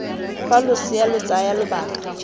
fa losea lo tsaya lobaka